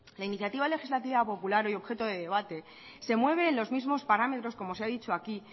la iniciativa legislativa popular hoy objeto de debate se mueve en los mismos parámetros como se ha dicho aquí